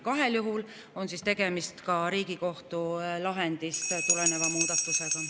Kahel juhul on tegemist Riigikohtu lahendist tuleneva muudatusega.